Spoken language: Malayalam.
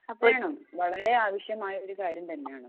വേണം വളരേ ആവിശ്യമായ ഒരു കാര്യം തന്നെയാണ്